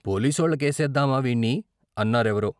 "పోలీసోళ్ళ కేసేద్దావా వీణ్ణి " అన్నా రెవరో.